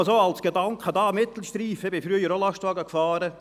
Ein Gedanke noch zum Mittelstreifen: Ich bin früher auch Lastwagen gefahren.